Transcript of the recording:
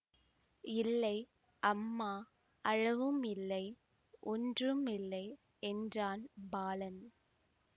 இல்லை அம்மா அழவும் இல்லை ஒன்றும் இல்லை என்றான் பாலன்